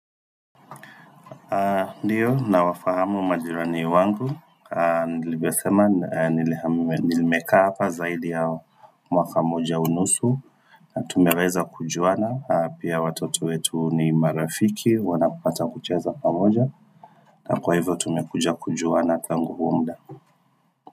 Ndiyo, nawafahamu majirani wangu Nilivyosema, nili nimekaa hapa zaidi ya mwaka moja unusu Tumeweza kujuana, pia watoto wetu ni marafiki, wanapata kucheza pamoja na kwa hivyo tumekuja kujuana tangu huo mda.